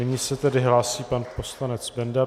Nyní se tedy hlásí pan poslanec Benda.